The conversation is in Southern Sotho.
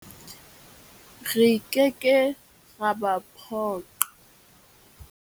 Re ke ke ra ba phoqa.